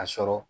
A sɔrɔ